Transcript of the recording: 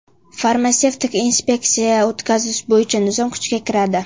Farmatsevtik inspeksiya o‘tkazish bo‘yicha nizom kuchga kiradi.